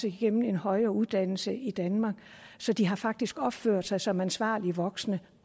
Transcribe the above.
igennem en højere uddannelse i danmark så de har faktisk opført sig som ansvarlige voksne